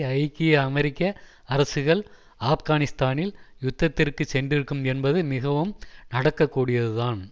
ஐக்கிய அமெரிக்க அரசுகள் ஆப்கானிஸ்தானில் யுத்தத்திற்குச் சென்றிருக்கும் என்பது மிகவும் நடக்கக்கூடியதுதான்